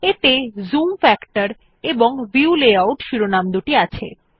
এতে zoom factor এবং view layout শিরোনামদুটি আছে